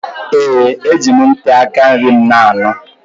Ee! Eji m ntị aka nri m na-anụ.